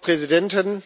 Frau Präsidentin!